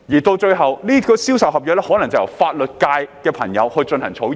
到了最後，銷售合約可能就由法律界的朋友進行草擬。